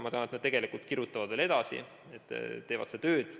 Ma tean, et nad kirjutavad veel edasi, teevad tööd.